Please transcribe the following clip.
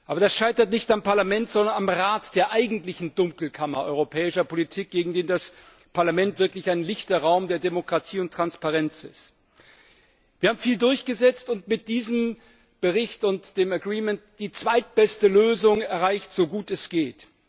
Aber das scheitert nicht am Parlament, sondern am Rat der eigentlichen Dunkelkammer europäischer Politik, gegen die das Parlament wirklich ein lichter Raum der Demokratie und Transparenz ist. Wir haben viel durchgesetzt und mit diesem Bericht und dem Agreement die zweitbeste Lösung erreicht, so gut es geht.